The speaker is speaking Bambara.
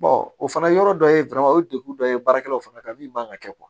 o fana yɔrɔ dɔ ye o ye degun dɔ ye baarakɛlaw fana ka min man kan ka kɛ